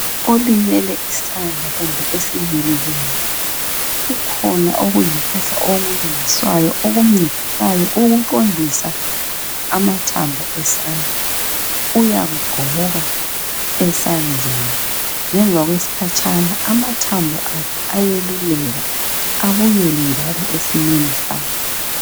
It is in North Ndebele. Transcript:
Olimele isandla kumbe esinyelileyo, kukhona okuyimpahla okulungiswayo okuncedisayo ukuqondisa amathambo esandla. Uyakugqoka esandleni ngemva kwesikhatshana amathambo akhe ayeluleka ebuyele njalo esimeni sayo.